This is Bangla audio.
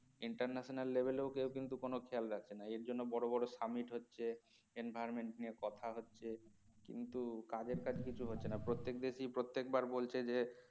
international level ও কেউ কোন খেয়াল রাখে না এর জন্য বড় বড় summit হচ্ছে environment নিয়ে কথা হচ্ছে কিন্তু কাজের কাজ কিছু হচ্ছে না প্রত্যেক দেশ ই প্রত্যেক বার বলছে যে